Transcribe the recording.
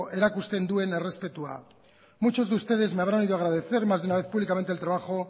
erakusten duen errespetua muchos de ustedes me habrán oído agradecer más de una vez públicamente el trabajo